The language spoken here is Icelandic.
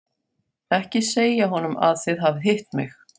Ekki segja honum að þið hafið hitt mig.